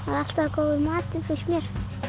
alltaf góður matur finnst mér